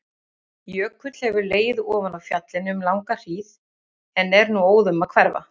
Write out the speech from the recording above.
Jökull hefur legið ofan á fjallinu um langa hríð en er nú óðum að hverfa.